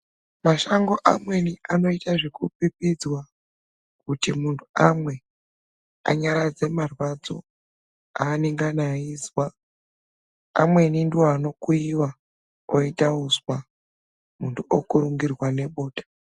Mashango amweni anoita zvekupipidzwa kuti muntu amwe anyaradze marwadzo anangana aizwa. Amweni ndivo anokuiva oita uswa muntu okurungirwa ngebota.